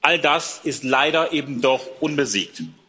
All das ist leider eben doch unbesiegt.